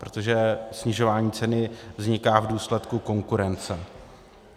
Protože snižování ceny vzniká v důsledku konkurence.